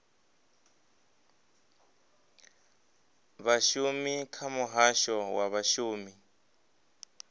vhashumi kha muhasho wa vhashumi